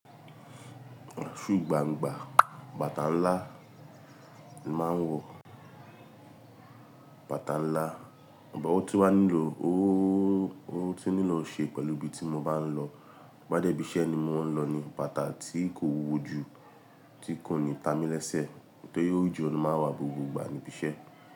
Su gbangba, bàtà ńlá ni màá ń wọ, bàtà ńlá, but o tun wà nílò ooo, o tun nílò ṣe pẹ̀lú ibi tí mo bá ń lọ. Bá dẹ́ ibi iṣẹ́ ni mò ń lọ ni bàtà tí kò wúwo ju, tí kò ní ta mí lẹ́sẹ̀, nítorí ojo nà máa ń wà gbogbo ìgbà níbí iṣẹ́